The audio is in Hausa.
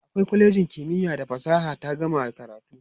a kwalejin kimiya da fasaha ta gama karatu